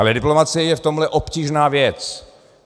Ale diplomacie je v tomhle obtížná věc.